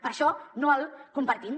per això no el compartim